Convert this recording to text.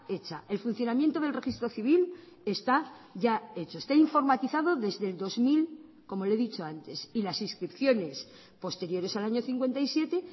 hecha el funcionamiento del registro civil está ya hecho está informatizado desde el dos mil como le he dicho antes y las inscripciones posteriores al año cincuenta y siete